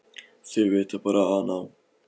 Þau vita bara að hann á